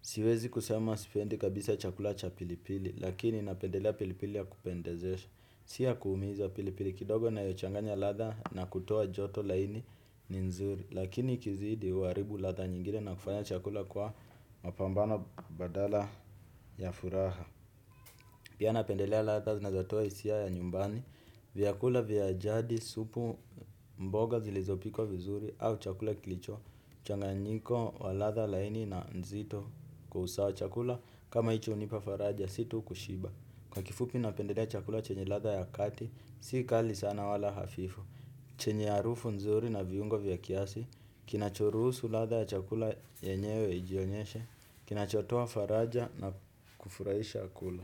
Siwezi kusema sipendi kabisa chakula cha pilipili, lakini napendelea pilipili ya kupendezesha. Tia kuumiza pili pili kidogo nayochanganya ladha na kutoa joto laini ni nzuri. Lakini ikizidi, huaribu ladha nyingine na kufanya chakula kwa mapambano badala ya furaha. Pia, napendelea ladha zinatoa hisia ya nyumbani. Vyakula vya jadi, supu, mboga zilizopikwa vizuri au chakula kilicho changanyiko wa ladha laini na nzito kwa usawa. Chakula kama hicho hunipa faraja, si tu kushiba. Kwa kifupi napendelea chakula chenye ladha ya kati, si kali sana wala hafifu. Chenye harufu nzuri na viungo vya kiasi, kinachoruhusu ladha ya chakula yenyewe ijionyeshe, kinachotoa faraja na kufurahisha akulu.